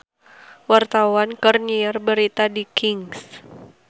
Wartawan keur nyiar berita di Kings